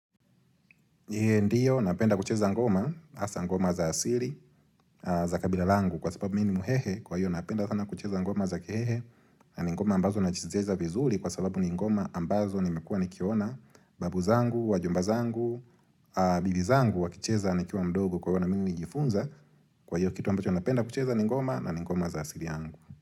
Ndiyo, napenda kucheza ngoma, asa ngoma za asili, za kabila langu kwa sababu minimu hehe kwa hiyo napenda sana kucheza ngoma za kihehe na ngoma ambazo nazicheza vizuri kwa sababu ni ngoma ambazo nimekuwa nikiona babu zangu, wajomba zangu, bibi zangu wakicheza nikuwa mdogo kwa hiyo na mingu nijifunza kwa hiyo kitu ambacho napenda kucheza ni ngoma na ni ngoma za asili angu.